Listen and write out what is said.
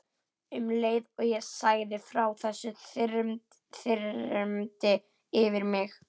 Um leið og ég sagði frá þessu þyrmdi yfir mig.